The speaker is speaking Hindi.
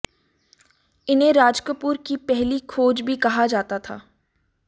इन्हें राजकपूर की पहली खोज भी कहा जाता था